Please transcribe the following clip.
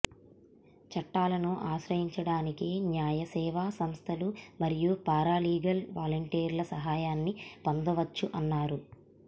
చట్టాలను ఆశ్రయించడానికి న్యాయసేవా సంస్థలు మరియు పారాలీగల్ వాలంటిర్ల సహాయాన్ని పొందవచ్చు అన్నారు